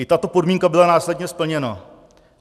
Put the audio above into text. I tato podmínka byla následně splněna.